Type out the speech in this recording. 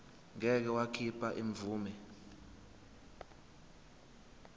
ngeke wakhipha imvume